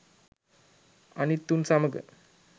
අනිත් උන් සමග